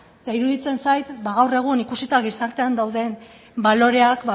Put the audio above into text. eta iruditzen zait ba gaur egun ikusita gizartean dauden baloreak